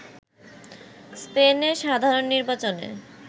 স্পেনে সাধারণ নির্বাচনে